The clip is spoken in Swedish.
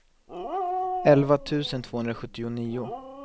elva tusen tvåhundrasjuttionio